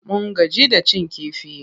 Mun gaji da cin kifi.